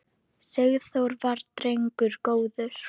Sigþór var drengur góður.